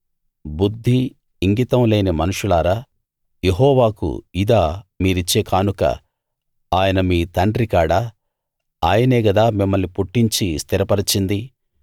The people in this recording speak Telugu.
బుద్ధి ఇంగితం లేని మనుషులారా యెహోవాకు ఇదా మీరిచ్చే కానుక ఆయన మీ తండ్రి కాడా ఆయనే గదా మిమ్మల్ని పుట్టించి స్థిరపరచింది